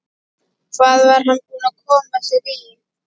Hvað var hann búinn að koma sér í?